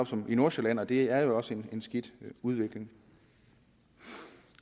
som i nordsjælland og det er jo også en skidt udvikling